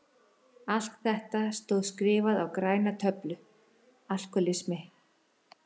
Allt þetta stóð skrifað á græna töflu: Alkohólismi.